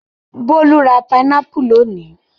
Bólú ra pinápù lónìí.